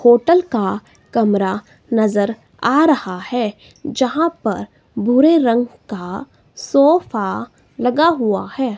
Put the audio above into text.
Hotel का कमरा नजर आ रहा है जहां पर भूरे रंग का सोफा लगा हुआ है।